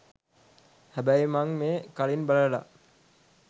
හැබැයි මං මේක කලින් බලලා